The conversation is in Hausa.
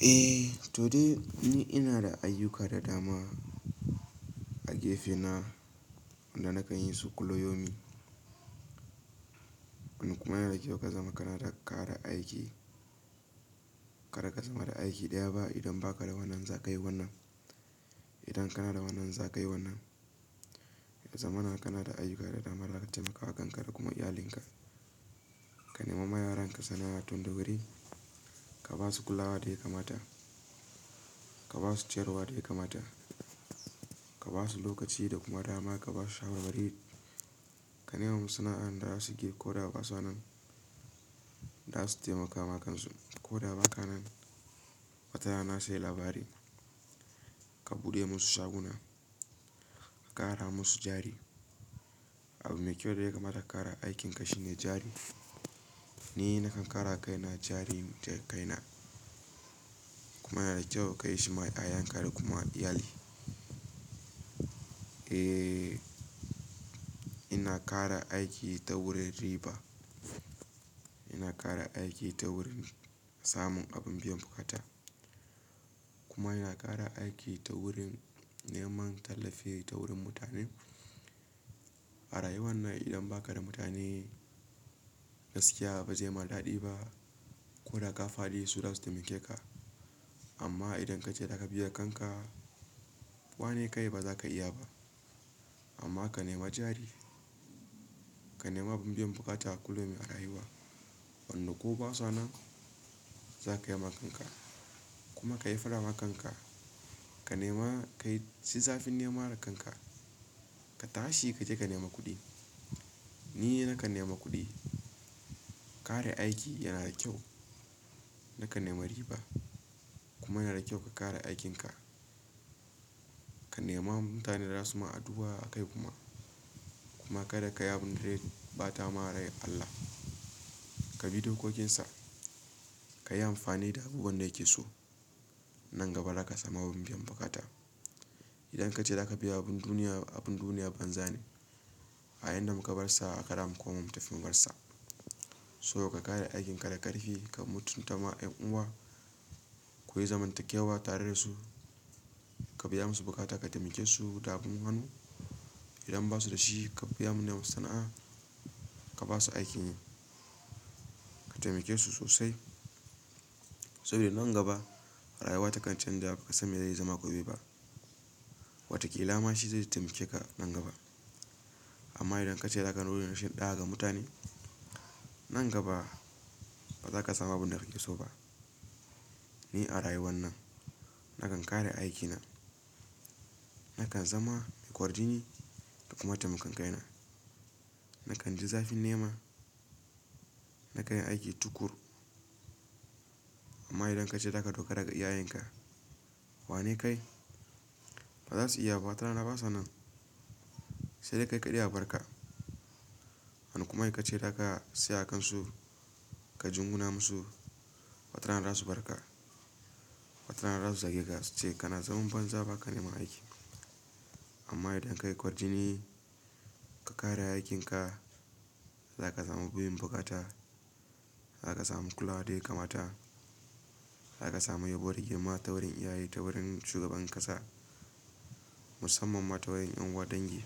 Eh, to dai ni ina da ayyuka da dama. A gefe na da nake yin su kullu yaumin. Wannan kuma yana da kyau ka zama kana da kara aiki. Kada ka zama da aiki ɗaya ba idan ba ka da wannan za ka yi wannan. Idan kana da wannan za ka yi wannan. Zamana kana da ayyuka da dama da za ka taimaka wa kanka da kuma iyalinka. Ka nema ma yaranka sana'a tun da wuri, ka ba su kulawa da ya kamata. Ka ba su ciyarwa da ya kamata, ka ba su lokaci da kuma dama, ka ba su shawarwari. Ka nema musu sana'an da za su ke ko da ba sa nan. Za su taimaka ma kan su ko da ba ka nan. Wata rana sai labari, ka buɗe musu shaguna, ka ƙara musu jari. Abun mai kyau da ya kamata ka ƙara aikinka shine jari. Ni nakan ƙarawa kaina jari da kaina, kuma yana da kyau ka yi shi ma ƴaƴan ka da kuma iyali. Eh, ina ƙara aiki ta wurin riba. Ina ƙara aiki ta wurin samun abun biyan bukata. Kuma yana ƙara aiki ta wurin neman tallafi ta wurin mutane. A rayuwar nan idan ba ka da mutane gaskiya ba zai ma daɗi ba ko da ka faɗi su za su taimake ka. Amma idan ka ce za ka biya kanka, wane kai ba za ka iya ba. Amma ka nema jari, ka nema abun biyan buƙata a kullum a rayuwa. Wanne ko ba sa nan za kai ma kanka kuma ka yi faɗa ma kanka. Ka nema kai, yi zafin nema da kanka. Ka tashi ka je ka nema kuɗi. Ni nakan nema kuɗi. Kare aiki yana da kyau. Nakan nema riba kuma yana da kyau ka ƙara aikinka. Ka nema mutane da za su ma addu'a a kai kuma. Kuma kada ka yi abin da zai ɓata ma rai Allah. Ka bi dokokinsa, ka yi amfani da abubuwan da yake so, nan gaba za ka samu abun biyan buƙata. Idan ka ce za ka biya abun duniya, abun duniya banza ne. A yayin da muka bar sa a haka za mu koma mu tafi mu bar sa. So ka ƙare aikin ka da ƙarfi, ka mutunta ma ƴan uwa, ku yi zamantakewa tare da su, ka biya musu bukata, ka taimake su da abun hannu. Idan ba su da shi ka biya mu nema sana'a, ka ba su aikin yi, ka taimake su sosai. Sabida nan gaba rayuwa takan canja ba ka san mai zai zama gobe ba. Wataƙila ma shi zai taimake ka nan gaba. Amma idan ka ce za ka nuna rashin ɗa'a ga mutane, nan gaba ba za ka samu abun da kake so ba. Ni a rayuwar nan na kan kara aiki na, na kan zama ƙwarjini da kuma taimakon ƙaina. Na kan ji zafin nema, na kan yi aiki tuƙuru. Amma idan ka ce za ka dogara ga iya yinka, wane kai? Ba za su iya ba wata rana ba sa nan. Sai dai kai kaɗai a bar ka. Wani kuma sai ka ce za ka siya a kansu, ka jinguna musu, wata rana su barka. Wata rana za su zageka su ce kana zaman banza ba ka neman aiki. Amma idan kai kwarjini, ka ƙara aikinka, za ka samu biyin buƙata, za ka samu kulawa da ya kamata, za ka samu yabo da girma ta wurin iyaye ta wurin shugaban ƙasa. Musamman ma ta wajen ƴan uwa dangi.